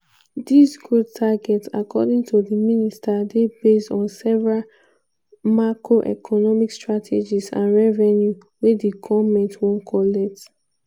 dis growth target according to di minister dey based on several macroeconomic strategies and revenue wey di goment wan collect.